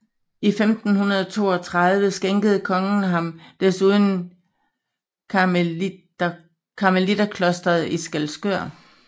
I 1532 skænkede kongen ham desuden karmeliterklosteret i Skælskør